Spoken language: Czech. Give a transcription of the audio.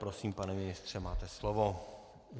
Prosím, pane ministře, máte slovo.